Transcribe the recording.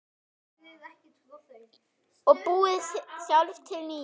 Og búið sjálf til nýja.